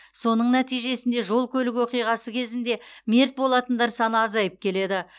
соның нәтижесінде жол көлік оқиғасы кезінде мерт болатындар саны азайып келеді